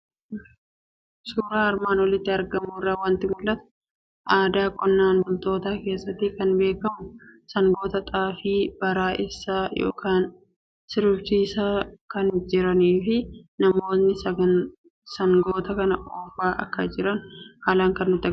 Suuraa armaan olitti argamu irraa waanti mul'atu; aadaa qonnaan bultoota keessatti kan beekamu, sangoota Xaafii bara'eessaa yookiin sirbisiisaa kan jiranifi namootni sangoota kana oofaa akka jiran haalan kan nutti agarsiisudha.